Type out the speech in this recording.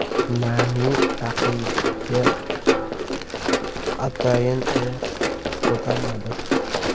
Nani raqibga atayin oyoq ko‘tarmadi.